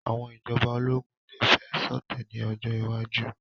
Àwọn ìjọba ológun lè fẹ́ ṣọ̀tẹ̀ ní ọjọ́ iwájú